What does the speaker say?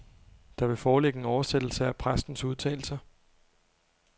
Der vil foreligge en oversættelse af præstens udtalelser.